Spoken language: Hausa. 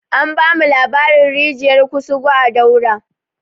An bamu labarin rijiyar kusugu a daura